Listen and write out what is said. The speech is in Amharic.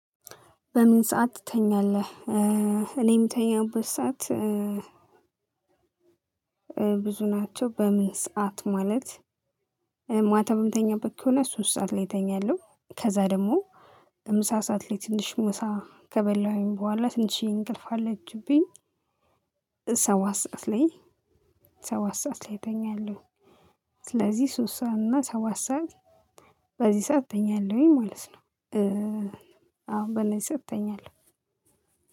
በምን ሰዓት ትተኛለህ? እኔ ምተኛበት ሰዓት ብዙ ናቸው። በምን ሰዓት ማለት ማታ በምተኛበት ከሆነ ሶስት ሰዓት ላይ እተኛለሁ። ከዛ ደግሞ ምሳ ሳዓት ላይ ትንሽ ምሳ ከበላሁኝ በኋላ ትንሽዬን እንቅልፍ አለችብኝ። ሰባት ሰዓት ላይ ሰባት ሰዓት ላይ እተኛለሁ። ስለዚህ ሶሰዓት እና ሰባት ሰዓት በዚህ ሰዓት እተኛለሁኝ ማለት ነው። አዎ ባለኝ ሰዓት እተኛለሁ።